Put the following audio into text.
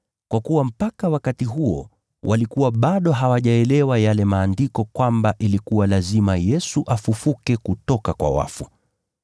(kwa kuwa mpaka wakati huo walikuwa bado hawajaelewa kutoka Maandiko kwamba ilikuwa lazima Yesu afufuke kutoka kwa wafu).